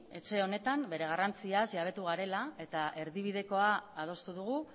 etxe honetan bere garrantziaz jabetu garela eta erdibidekoa adostu dugu